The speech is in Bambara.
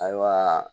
Ayiwa